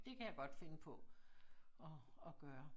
Dét kan jeg godt finde på at at gøre